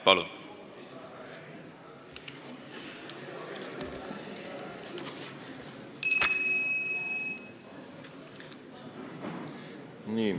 Palun!